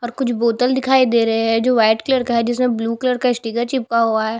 और कुछ बोतल दिखाई दे रहे है जो व्हाइट कलर का है जिसमें ब्लू कलर का स्टिकर चिपका हुआ है।